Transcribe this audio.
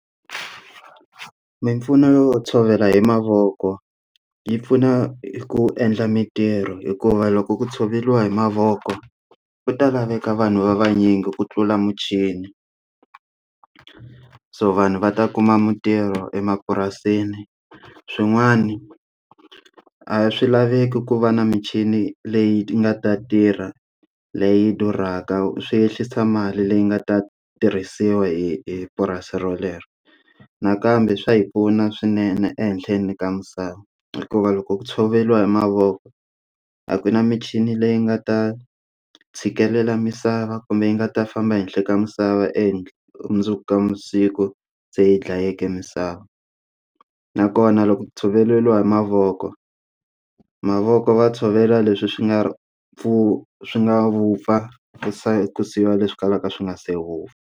Mimpfuno yo tshovela hi mavoko yi pfuna ku endla mintirho hikuva loko ku tshoveriwa hi mavoko ku ta laveka vanhu va vanyingi ku tlula muchini so vanhu va ta kuma mintirho emapurasini swin'wani a swilaveki ku va na michini leyi nga ta tirha leyi durhaka swi ehlisa mali leyi nga ta tirhisiwa hi purasi rolero nakambe swa hi pfuna swinene ehenhleni ka misava hikuva loko ku tshoveriwa hi mavoko a ku na michini leyi nga ta tshikelela misava kumbe yi nga ta famba ehenhla ka misava endla mundzuku ka masiku se yi dlayeke misava nakona loko ku tshoveriwa hi mavoko mavoko va tshovela leswi swi nga pfu swi nga vupfaku siyiwa leswi swi kalaka swi nga se vupfa.